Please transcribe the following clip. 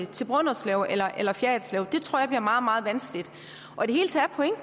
til brønderslev eller eller fjerritslev det tror jeg bliver meget meget vanskeligt